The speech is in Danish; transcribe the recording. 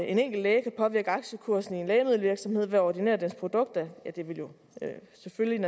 en enkelt læge kan påvirke aktiekursen i en lægemiddelvirksomhed ved at ordinere deres produkter vil jo selvfølgelig